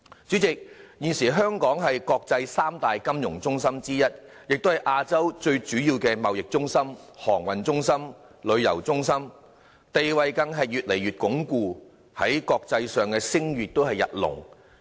主席，現時香港是國際三大金融中心之一，也是亞洲最主要的貿易中心、航運中心、旅遊中心，地位更越來越鞏固，在國際上聲譽日隆。